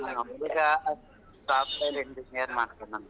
ಹುಡುಗ Software Engineer ಮಾಡ್ತಾನಂತೆ.